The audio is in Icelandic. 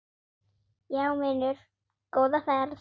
Já vinur, góða ferð!